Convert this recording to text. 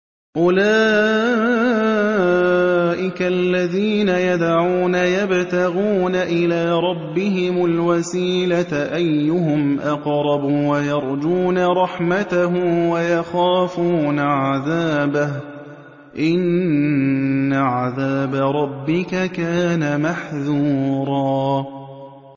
أُولَٰئِكَ الَّذِينَ يَدْعُونَ يَبْتَغُونَ إِلَىٰ رَبِّهِمُ الْوَسِيلَةَ أَيُّهُمْ أَقْرَبُ وَيَرْجُونَ رَحْمَتَهُ وَيَخَافُونَ عَذَابَهُ ۚ إِنَّ عَذَابَ رَبِّكَ كَانَ مَحْذُورًا